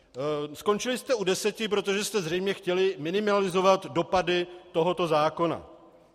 Skončili jste u deseti, protože jste zřejmě chtěli minimalizovat dopady tohoto zákona.